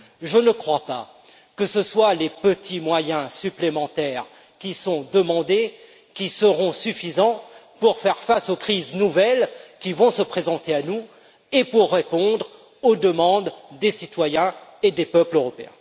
Je ne crois pas que les petits moyens supplémentaires qui sont demandés seront suffisants pour faire face aux crises nouvelles qui vont se présenter à nous et pour répondre aux demandes des citoyens et des peuples européens.